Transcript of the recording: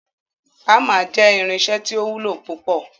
Hamer jẹ irinṣẹ ti o wulo pupọ